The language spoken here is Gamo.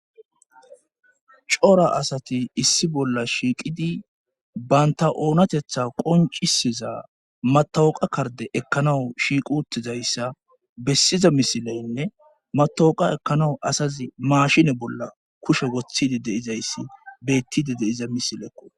cora asati issi bolla shiiqidi baynta oonatetha qoncisiza matawoqa karde ekkanawu shiiqutizayssa bessiza misileynne matawoqa ekkanawu asazi maashine bolla kushe woththidi de7izayssi beettide deiza misileekko